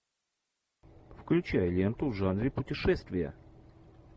включай ленту в жанре путешествия